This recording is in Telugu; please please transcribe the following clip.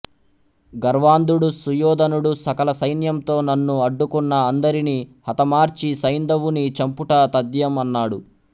గర్వాంధుడు సుయోధనుడు సకల సైన్యంతో నన్ను అడ్డుకున్నా అందరిని హతమార్చి సైంధవుని చంపుట తధ్యం అన్నాడు